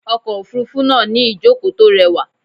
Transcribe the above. Okọ̀ òfúrúfú náà ní ìjókòó tó rẹwà.